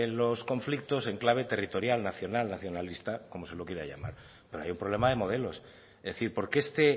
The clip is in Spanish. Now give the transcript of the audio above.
los conflictos en clave territorial nacional nacionalista como se lo quiera llamar pero hay un problema de modelos es decir por qué este